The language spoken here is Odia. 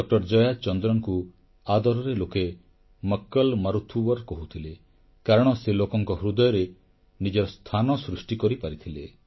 ଡକ୍ଟର ଜୟାଚନ୍ଦ୍ରନଙ୍କୁ ଆଦରରେ ଲୋକେ ମକ୍କଲ ମାରୁଥୁୱର କହୁଥିଲେ କାରଣ ସେ ଲୋକଙ୍କ ହୃଦୟରେ ନିଜର ସ୍ଥାନ ସୃଷ୍ଟି କରିପାରିଥିଲେ